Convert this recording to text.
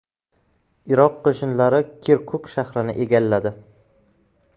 Iroq qo‘shinlari Kirkuk shahrini egalladi.